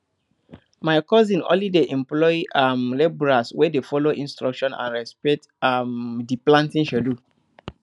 my cousin only dey employ um labourers wey dey follow instructions and respect um di planting schedule